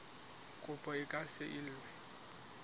kopo e ka se elwe